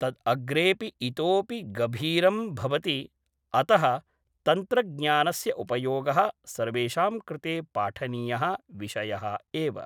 तद्‌ अग्रेपि इतोपि गभीरम् भवति अतः तन्त्रज्ञानस्य उपयोगः सर्वेषां कृते पाठनीयः विषयः एव